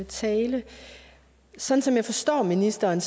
talen sådan som jeg forstår ministeren